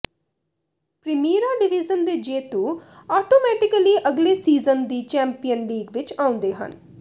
Primeira Division ਦੇ ਜੇਤੂ automatically ਅਗਲੇ ਸੀਜ਼ਨ ਦੀ ਚੈਂਪੀਅਨਜ਼ ਲੀਗ ਵਿੱਚ ਆਉਂਦੇ ਹਨ